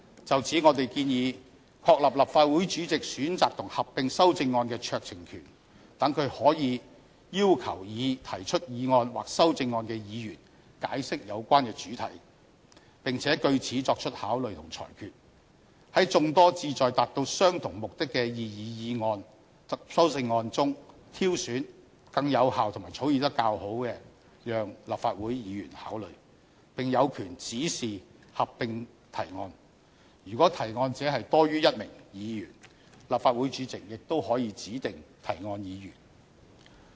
就此，我們建議確立立法會主席選擇及合併修正案的酌情權，讓他可以要求擬提出議案或修正案的議員解釋有關的主題，並且據此作出考慮和裁決，在眾多旨在達到相同目的擬議議案及修正案中，挑選更有效和草擬較佳的讓立法會議員考慮，並有權指示合併提案；如果提案者多於1名議員，立法會主席亦可以指定提案議員。